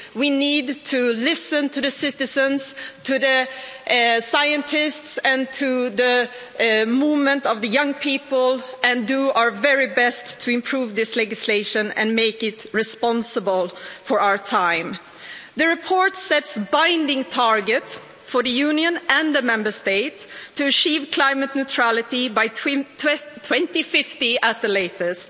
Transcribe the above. we need to listen to citizens, scientists and the movement of young people and do our very best to improve this legislation and make it responsible for our time. The report sets a binding target for the Union and the Member States to achieve climate neutrality by 2050 at the latest.